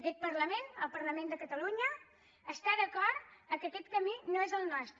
aquest parlament el parlament de catalunya està d’acord que aquest camí no és el nostre